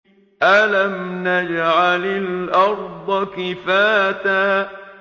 أَلَمْ نَجْعَلِ الْأَرْضَ كِفَاتًا